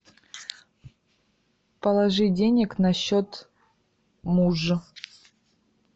положи денег на счет мужа